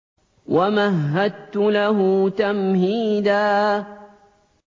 وَمَهَّدتُّ لَهُ تَمْهِيدًا